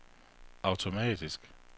automatisk